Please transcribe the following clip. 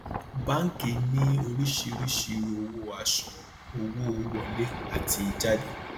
báńkì ní oríṣiríṣi owó àṣuwòn owó wọlé àti jáde